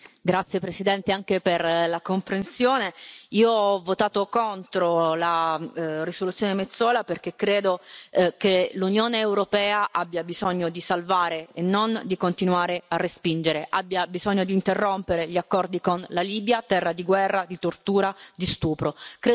Signor Presidente, onorevoli colleghi, grazie Presidente anche per la comprensione. Io ho votato contro la risoluzione Metsola, perché credo che l'Unione europea abbia bisogno di salvare e non di continuare a respingere, abbia bisogno di interrompere gli accordi con la Libia, terra di guerra, di tortura, di stupro.